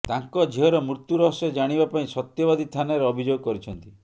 ତାଙ୍କ ଝିଅର ମୃତ୍ୟୁ ରହସ୍ୟ ଜାଣିବା ପାଇଁ ସତ୍ୟବାଦୀ ଥାନାରେ ଅଭିଯୋଗ କରିଛନ୍ତି